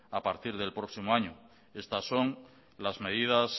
a partir del próximo año estas son las medidas